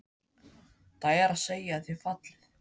Það er að segja að þið fallið?